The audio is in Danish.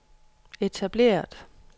etableret